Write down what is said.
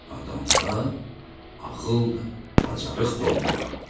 Adamda ağıl da, bacarıq da olmalıdır.